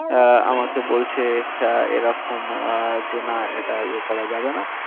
আহ আমাকে বলছে sir এরকম আহ যে না এটা ইয়ে করা যাবে না।